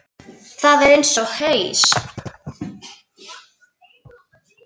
Það er eins og haus